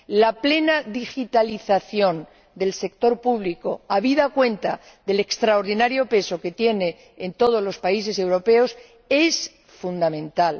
La plena digitalización del sector público ―habida cuenta del extraordinario peso que tiene en todos los países europeos― es fundamental.